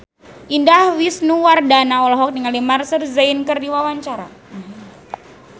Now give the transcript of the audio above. Indah Wisnuwardana olohok ningali Maher Zein keur diwawancara